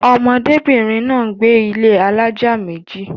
ọmọdé bìnrin náà gbé ilé alájà méjì